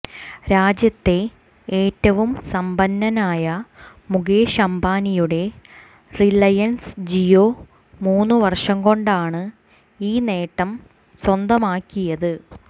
രാജ്യത്തെ ഏറ്റവും സമ്പന്നനായ മുകേഷ് അംബാനിയുടെ റിലയന്സ് ജിയോ മൂന്നുവര്ഷംകൊണ്ടാണ് ഈ നേട്ടം സ്വന്തമാക്കിയത്